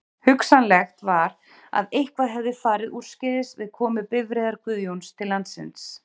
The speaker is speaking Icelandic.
Hugsanlegt var að eitthvað hefði farið úrskeiðis við komu bifreiðar Guðjóns til landsins.